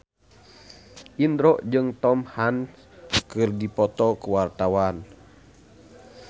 Indro jeung Tom Hanks keur dipoto ku wartawan